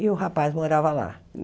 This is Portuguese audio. E o rapaz morava lá.